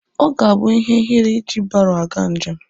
Ọ ga-abụ ihe ihere iji baro aga njem.